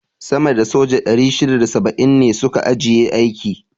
sama da soja 670 ne su ka ajiye aiki.